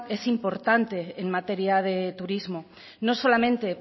es importante en materia de turismo no solamente